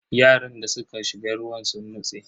Yaran da suka shiga ruwa sun nutse.